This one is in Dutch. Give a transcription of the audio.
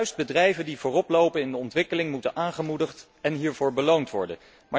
Juist bedrijven die vooroplopen in de ontwikkeling moeten worden aangemoedigd en hiervoor beloond worden.